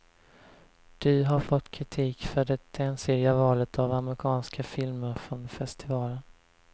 Du har fått kritik för det ensidiga valet av amerikanska filmer från festivalen.